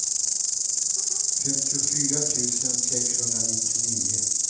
femtiofyra tusen sexhundranittionio